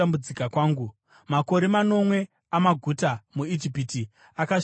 Makore manomwe amaguta muIjipiti akasvika pakupera,